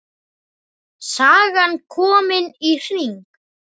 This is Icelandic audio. Sagan komin í hring.